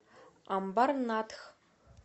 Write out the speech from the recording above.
амбарнатх